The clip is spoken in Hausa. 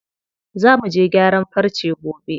Za muje gyaran farce gobe.